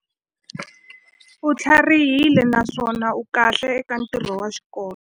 U tlharihile naswona u kahle eka ntirho wa xikolo.